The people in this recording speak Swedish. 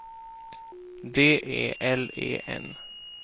D E L E N